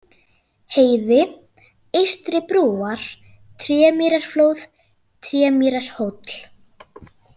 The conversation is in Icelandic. Heiði, Eystri-Brúar, Trémýrarflóð, Trémýrarhóll